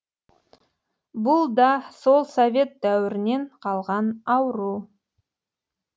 бұл да сол совет дәуірінен қалған ауру